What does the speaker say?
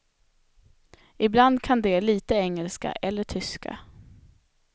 Ibland kan de lite engelska eller tyska.